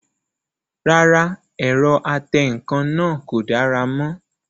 Rárá, ẹ̀rọ atẹǹkan náà kò dára mọ́